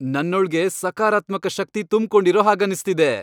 ನನ್ನೊಳ್ಗೆ ಸಕಾರಾತ್ಮಕ ಶಕ್ತಿ ತುಂಬ್ಕೊಂಡಿರೋ ಹಾಗನ್ನಿಸ್ತಿದೆ.